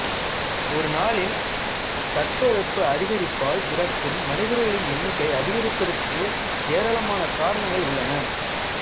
ஒரு நாளில் தட்ப வெப்ப அதிகரிப்பால் இறக்கும் மனிதர்களின் எண்ணிக்கை அதிகரிப்பதற்கு ஏராளமான காரணங்கள் உள்ளன